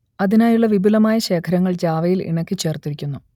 അതിനായുള്ള വിപുലമായ ശേഖരങ്ങൾ ജാവയിൽ ഇണക്കിച്ചേർത്തിരിക്കുന്നു